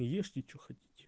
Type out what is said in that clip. и ешьте что хотите